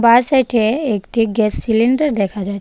বাঁ সাইডে একটি গ্যাস সিলিন্ডার দেখা যাচ্ছে.